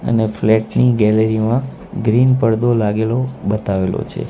એની flat ની gallery માં green પરદો લાગેલો બતાવેલો છે.